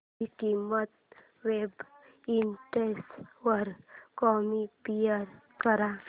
ची किंमत websites वर कम्पेअर कर